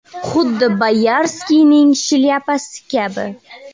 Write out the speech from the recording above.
Xuddi Boyarskiyning shlyapasi kabi.